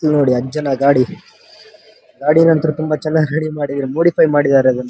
ಇಲ್ನೋಡಿ ಅಜ್ಜನ ಗಾಡಿ ಗಾಡಿನಂತೂ ತುಂಬಾ ಚೆನ್ನಾಗಿ ರೆಡಿ ಮಾಡಿದ್ದಾರೆ. ಮೋಡಿಫೈ ಮಾಡಿದ್ದಾರೆ ಅದನ್ನ.